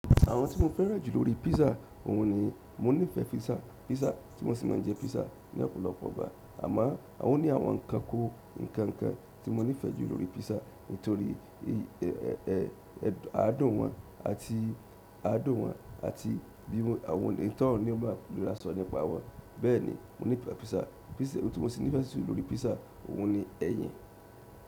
Àwọn tí mo fẹ́ràn jù lórí pizza òun ni mo nífẹ̀ẹ́ pizza. Pizza tí mo sì máa ń jẹ pizza ní ọ̀pọ̀lọpọ̀ ìgbà, àmọ́ o ni àwọn kan kó ǹkan ǹkan tí mo nífẹ̀ẹ́ jù lórí pizza nítorí i, ẹ, ẹ, ẹ, àádùn wọn àti àádùn wọn àti bí àwọn onímọ̀ sò láti so nípa wọn. Bẹ́ẹ̀ni, mo nífẹ̀ẹ́ pizza. Pizza tí mo sì nífẹ̀ẹ́ jù lórí pizza òun ni ẹyin.